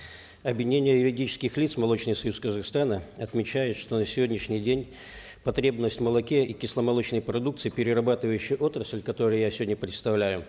объединение юридических лиц молочный союз казахстана отмечает что на сегодняшний день потребность в молоке и кисломолочной продукции перерабатывающая отрасль которую я сегодня представляю